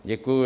Děkuji.